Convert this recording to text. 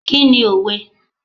Kí ni òwe?